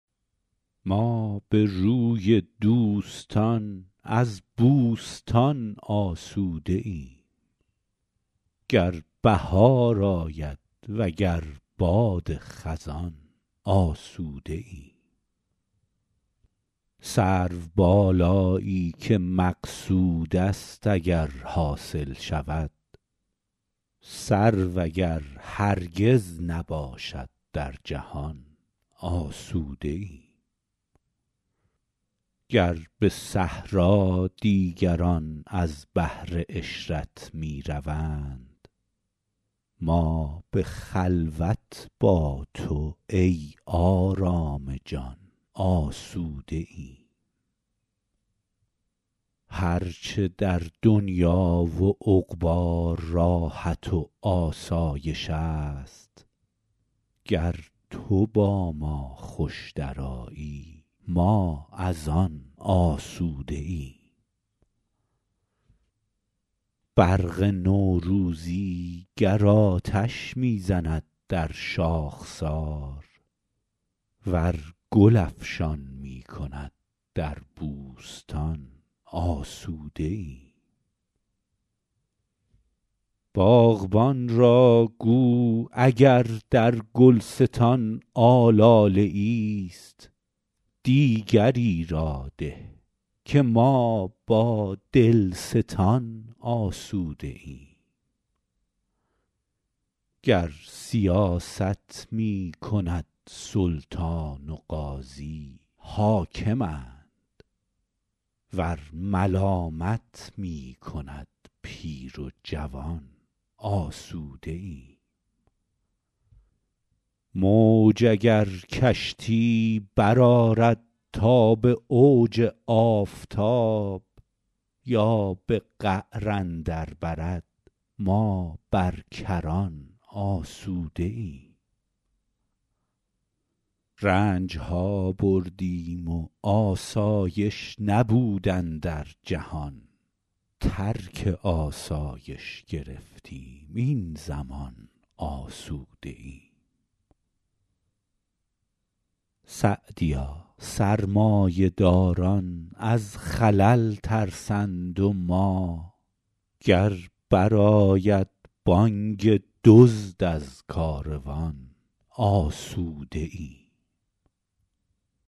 ما به روی دوستان از بوستان آسوده ایم گر بهار آید وگر باد خزان آسوده ایم سروبالایی که مقصود است اگر حاصل شود سرو اگر هرگز نباشد در جهان آسوده ایم گر به صحرا دیگران از بهر عشرت می روند ما به خلوت با تو ای آرام جان آسوده ایم هر چه در دنیا و عقبی راحت و آسایش است گر تو با ما خوش درآیی ما از آن آسوده ایم برق نوروزی گر آتش می زند در شاخسار ور گل افشان می کند در بوستان آسوده ایم باغبان را گو اگر در گلستان آلاله ایست دیگری را ده که ما با دلستان آسوده ایم گر سیاست می کند سلطان و قاضی حاکمند ور ملامت می کند پیر و جوان آسوده ایم موج اگر کشتی برآرد تا به اوج آفتاب یا به قعر اندر برد ما بر کران آسوده ایم رنج ها بردیم و آسایش نبود اندر جهان ترک آسایش گرفتیم این زمان آسوده ایم سعدیا سرمایه داران از خلل ترسند و ما گر بر آید بانگ دزد از کاروان آسوده ایم